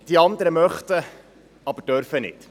Die anderen möchten, aber dürfen nicht.